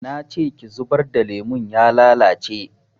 Nace ki zubar da lemon ya lalace